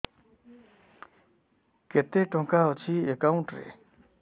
କେତେ ଟଙ୍କା ଅଛି ଏକାଉଣ୍ଟ୍ ରେ